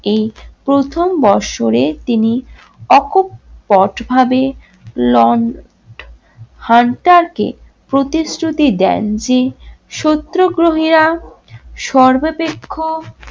এই প্রথম বৎসরে তিনি অকপট ভাবে লন্ড হান্টার কে প্রতিশ্রুতি দেন যে সত্যগ্রহীরা সর্বাপেক্ষা